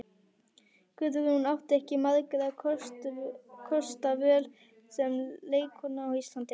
Guðrún átti ekki margra kosta völ sem leikkona á Íslandi.